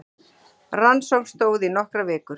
Rannsókn stóð í nokkrar vikur